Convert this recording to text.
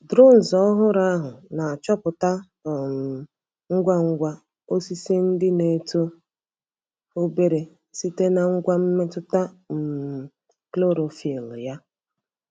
Drone ọhụrụ ahụ na-achọpụta um ngwa ngwa osisi ndị na-eto obere site na ngwa mmetụta um chlorophyll ya.